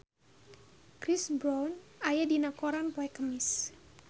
Chris Brown aya dina koran poe Kemis